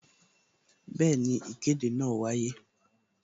Bẹẹni, ìkéde náà wáyé